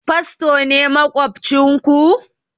Fasto ne maƙwabcin ku?